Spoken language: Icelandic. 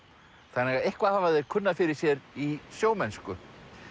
þannig að eitthvað hafa þeir kunnað fyrir sér í sjómennsku